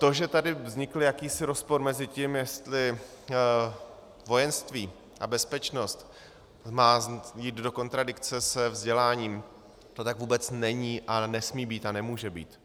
To, že tady vznikl jakýsi rozpor mezi tím, jestli vojenství a bezpečnost má jít do kontradikce se vzděláním, to tak vůbec není a nesmí být a nemůže být.